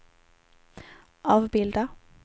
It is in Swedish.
avbilda